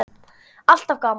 Alltaf gaman.